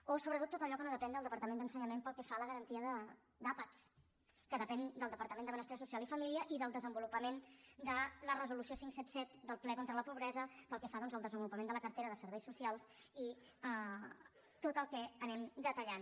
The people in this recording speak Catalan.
o sobretot tot allò que no depèn del departament d’en·senyament pel que fa a la garantia d’àpats que depèn del departament de benestar social i família i del desenvolupament de la resolució cinc cents i setanta set del ple contra la pobresa pel que fa doncs al desenvolupament de la cartera de serveis socials i tot el que anem detallant